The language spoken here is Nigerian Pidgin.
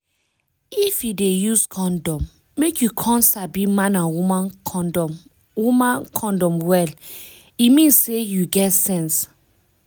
if you dey use condom make you come sabi man and woman condom woman condom well e mean say you get sense